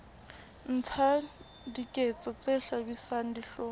etsa diketso tse hlabisang dihlong